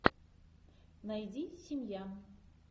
найди семья